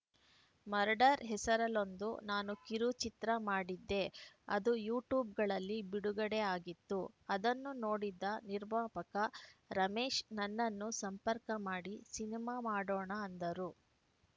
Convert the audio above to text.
murder ಹೆಸರಲ್ಲೊಂದು ನಾನು ಕಿರುಚಿತ್ರ ಮಾಡಿದ್ದೆ ಅದು ಯೂಟ್ಯೂಬ್‌ಗಳಲ್ಲಿ ಬಿಡುಗಡೆ ಆಗಿತ್ತು ಅದನ್ನು ನೋಡಿದ್ದ ನಿರ್ಮಾಪಕ ರಮೇಶ್‌ ನನ್ನನ್ನು ಸಂಪರ್ಕ ಮಾಡಿ ಸಿನಿಮಾ ಮಾಡೋಣ ಅಂದರು